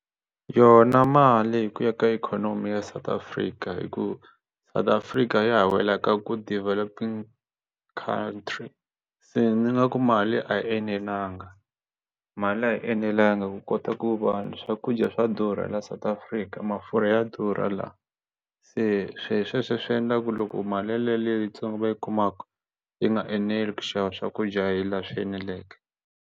Yona mali hi ku ya ka ikhonomi ya South Africa hi ku South Africa ya ha wela ka ku developing countries se ni nga ku mali a yi enelanga mali liya a yi enelanga ku kota ku va swakudya swa durha la South Africa mafurha ya durha la se swi sweswo swi endla ku loko mali yaliya leyitsongo va yi kumaka yi nga eneli ku xava swakudya hi laha swi eneleke.